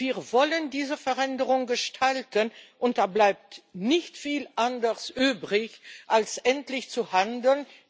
Wir wollen diese Veränderung gestalten, und da bleibt nicht viel anderes übrig, als endlich zu handeln.